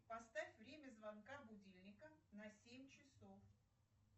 поставь время звонка будильника на семь часов